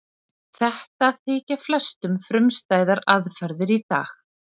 Þetta þykja flestum frumstæðar aðferðir í dag.